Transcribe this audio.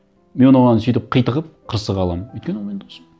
мен оған сөйтіп қитығып қырсыға аламын өйткені ол менің досым